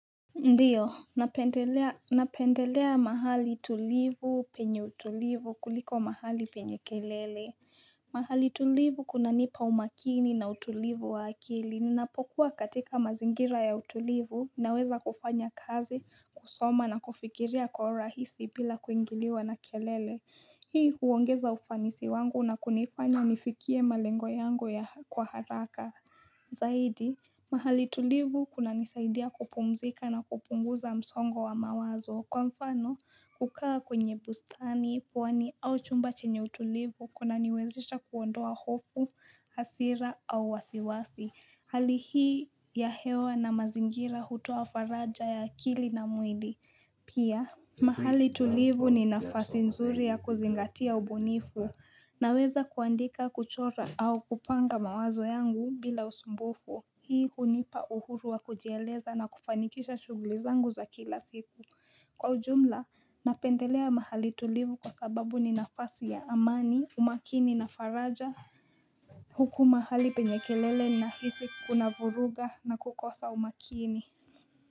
Ndiyo, napendelea mahali tulivu penye utulivu kuliko mahali penye kelele. Mahali tulivu kuna nipa umakini na utulivu wa akili. Napokuwa katika mazingira ya utulivu, naweza kufanya kazi, kusoma na kufikiria kwa urahisi bila kuingiliwa na kelele. Hii huongeza ufanisi wangu na kunifanya nifikie malengo yangu ya kwa haraka. Zaidi, mahali tulivu kuna nisaidia kupumzika na kupunguza msongo wa mawazo Kwa mfano, kukaa kwenye bustani, pwani au chumba chenye utulivu Kuna niwezesha kuondoa hofu, hasira au wasiwasi Hali hii ya hewa na mazingira hutoa faraja ya akili na mwili Pia, mahali tulivu ni nafasi nzuri ya kuzingatia ubunifu Naweza kuandika kuchora au kupanga mawazo yangu bila usumbufu Hii hunipa uhuru wa kujieleza na kufanikisha shuguli zangu za kila siku Kwa ujumla Napendelea mahali tulivu kwa sababu ni nafasi ya amani, umakini na faraja Huku mahali penye kelele nahisi kuna vuruga na kukosa umakini.